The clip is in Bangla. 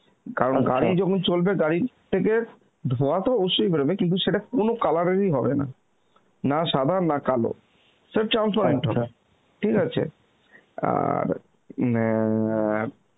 কারণ গাড়ি যখন চল্চ্বে গাড়ি থেকে ধোঁয়া তো অবশ্যই বের হবে কিন্তু সেটা কোন colour এর হবে না, না সাদা না কালোসেটা হবে, ঠিক আছে, আর অ্যাঁ